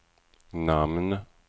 namn